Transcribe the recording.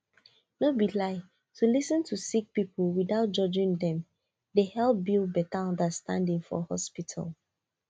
no be lie to lis ten to sick people without judging dem dey help build better understanding for hospital